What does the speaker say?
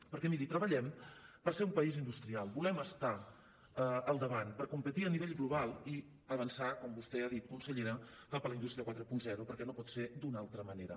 perquè miri treballem per ser un país industrial volem estar al davant per competir a nivell global i avançar com vostè ha dit consellera cap a la indústria quaranta perquè no pot ser d’una altra manera